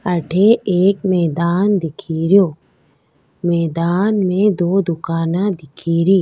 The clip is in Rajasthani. अठे एक मैदान दिखे रियो मैदान में दो दुकाना दिखे री।